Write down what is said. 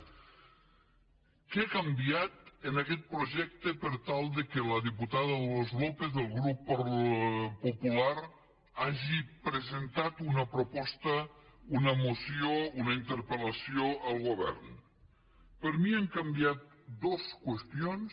què ha canviat en aquest projecte per tal que la diputada dolors lópez del grup popular hagi presentat una proposta una moció una interpelper mi han canviat dos qüestions